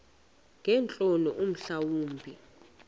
ngeentloni mhla wumbi